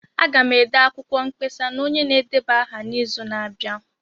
Aga m ede akwụkwọ mkpesa na onye na-edeba aha n'izu na-abịa.